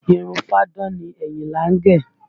Irun fáadán ni Àyìnlá gẹ̀